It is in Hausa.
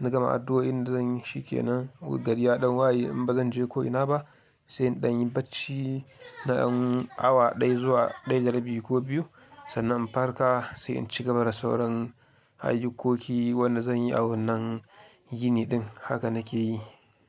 na gama addu'o'in da zan yi shi ke nan gari ɗan wayi in ba zan je ko'ina ba sai in ɗan yi bacci na dan awa ɗaya zuwa ɗaya da rabi ko biyu sannan in farka sai in cigaba da sauran ayyukoki wanda zan yi a wannan yini ɗin haka nake yi.